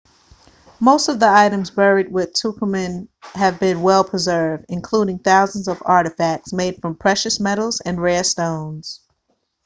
most of the items buried with tutankhamun have been well preserved including thousands of artefacts made from precious metals and rare stones